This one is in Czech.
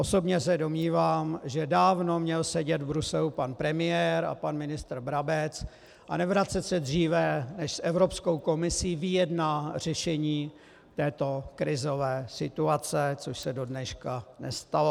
Osobně se domnívám, že dávno měl sedět v Bruselu pan premiér a pan ministr Brabec a nevracet se dříve, než s Evropskou komisí vyjedná řešení této krizové situace, což se dodneška nestalo.